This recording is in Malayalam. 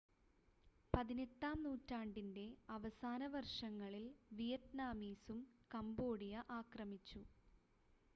18-ആം നൂറ്റാണ്ടിൻ്റെ അവസാന വർഷങ്ങളിൽ വിയറ്റ്നാമീസും കംബോഡിയ ആക്രമിച്ചു